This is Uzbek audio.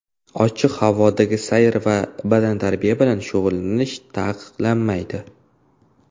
Ochiq havodagi sayr va badantarbiya bilan shug‘ullanish taqiqlanmaydi.